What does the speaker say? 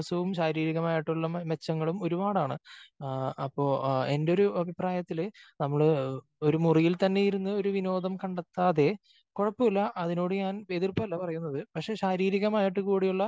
ശാരീരികമായിട്ടുള്ള മെച്ചങ്ങളും ഒരുപാടാണ്. അപ്പോ എന്റെ ഒരു അഭിപ്രായത്തില് നമ്മള് ഒരു മുറിയിൽ തന്നെ ഇരുന്ന് ഒരു വിനോദം കണ്ടെത്താതെ കുഴപ്പമില്ല അതിനോട് ഞാൻ എതിർപ്പല്ല പറയുന്നത് പക്ഷേ ശാരീരികമായിട്ട് കൂടിയുള്ള